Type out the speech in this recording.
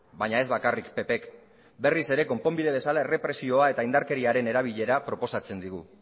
baina ez bakarrik ppk berriz ere konponbide bezala errepresioa eta indarkeriaren erabilera proposatzen digu